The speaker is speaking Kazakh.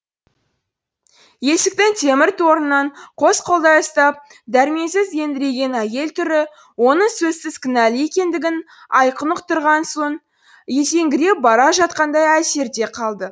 есіктің темір торынан қос қолдай ұстап дәрменсіз еңіреген әйел түрі оның сөзсіз кінәлі екендігін айқын ұқтырған сон есеңгіреп бара жатқандай әсерде қалды